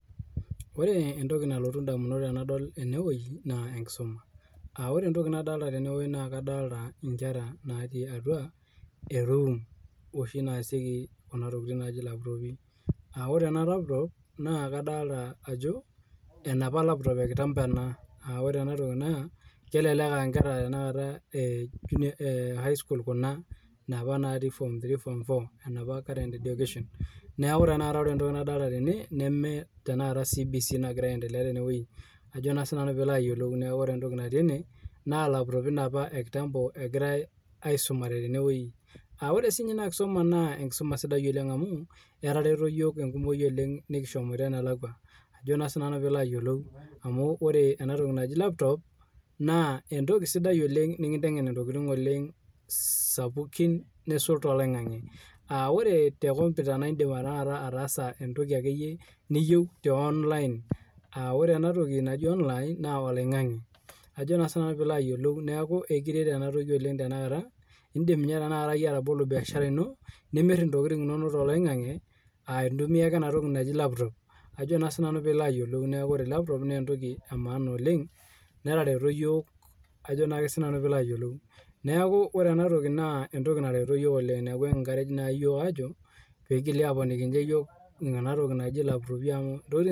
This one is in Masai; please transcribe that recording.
Ore entoki nalotu indamunot tenadol eneweji naa enkisuma. Ore entoki nadolita teneweji naa kadolita inkera natii atua eruum oshi naasieku enatoki naaji laptoopi, aa ore ena laputop naa kadolita ajo enapa laputop ekitambo ena, aa ore enatoki naa kelelek aa inkera tanakata highschool kuna napa natii form three, form four enapa kera eedukeshen, naaku tenakata ore entoki nadolita tene nemee tenakata CBC egiraa entelea teneweji ajo naa sii nanu pilo ayiolou, neaku ore entoki natii ene, naa laputopi apa ekitambo egirai aisumare teneweji, aa ore sii ninye nkisuma naa enkisuma sidai oleng amuu, etareto yook oleng enkumoi nekishomoito nelakwa, najo sii nanu piilo ayiolou amuu ore enatoki najii laputop naa entoki sidai oleng nikintengen ntokitin oleng sapukin neisul te loing'ang'e. Ore te nkomputa naa indim taata ataasa entoki ake iyie niyieu te online aa ore enatoki najii online naa eloing'ang'e, ajo sii nanu pilo ayiolou neaku ekiret enatoki oleng tenakata, indim ninye tenakata iyie atobolo mbiashara ino, nimirr intokitin inono te eloing'ang'e aa intumiya ake enatoki naji laputop ajo naa sii nanu pilo ayiolou, naaku ore laputop naa entoki emaana oleng netareto iyook ajo naake sii nanu piilo ayiolou. Neaku ore enatoki naa entoki natereto yook oleng naaku kiiencourage naa yook aajo peigili aaponiki yooki enatoki naji laputopi amu ntokitin.